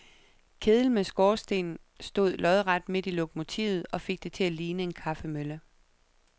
Kedel med skorsten stod lodret midt i lokomotivet og fik det til at ligne en kaffemølle.